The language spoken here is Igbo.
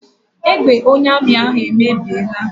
Egbe onye amị ahụ emebiela.